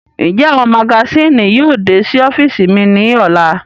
Njẹ awọn magasini náa yóò de si ọfiisi mi ni ọla?